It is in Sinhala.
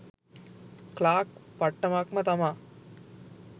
ක්ලාක් පට්ටමක් ම තමා.